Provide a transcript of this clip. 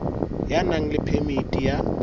ya nang le phemiti ya